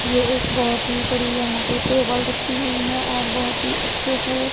ये एक बहोत ही बड़ी यहां पे टेबल रखी हुई है और बहोत ही अच्छे से--